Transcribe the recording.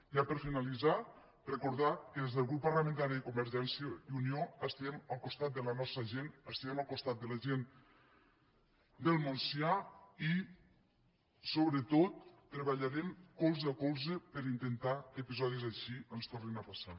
ja per finalitzar recordar que des del grup parlamentari de convergència i unió estem al costat de la nostra gent estem al costat de la gent del montsià i sobretot treballarem colze a colze per intentar que episodis així ens tornin a passar